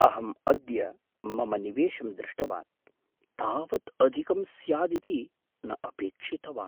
अहं अद्य मम निवेशं दृष्टवान्, तावत् अधिकं स्यादिति न अपेक्षितवान्।